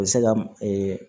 U bɛ se ka